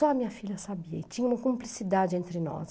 Só a minha filha sabia e tinha uma cumplicidade entre nós.